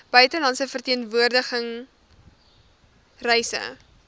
buitelandse verteenwoordiging reise